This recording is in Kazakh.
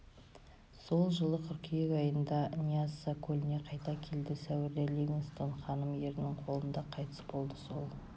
сол жылы қыркүйек айында ньясса көліне қайта келді сәуірде ливингстон ханым ерінің қолында қайтыс болды сол